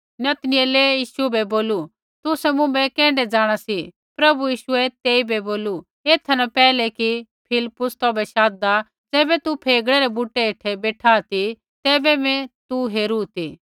नतनऐल यीशु बै बोलू तुसै मुँभै कैण्ढै जाँणा सी प्रभु यीशुऐ तेइबै बोलू एथा न पैहलै कि फिलिप्पुस तौभै शाधदा ज़ैबै तू फेगड़े रै बुटै हेठै बेठा ती तैबै मैं तू हेरू ती